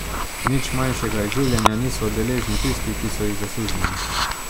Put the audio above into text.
Nič manjšega izživljanja niso deležni tisti, ki so jih zasužnjili.